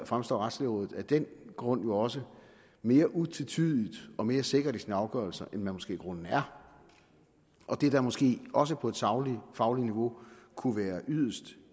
fremstår retslægerådet af den grund jo også mere utvetydig og mere sikker i sin afgørelse end man måske i grunden er og det der måske også på et sagligt fagligt niveau kunne være yderst